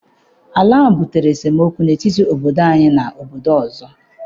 Ala ahụ butere esemokwu n'etiti obodo anyị na obodo ọzọ.